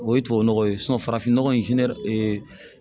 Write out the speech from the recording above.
O ye tubabu nɔgɔ ye farafin nɔgɔ in